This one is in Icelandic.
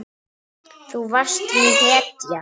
Þú varst mín hetja.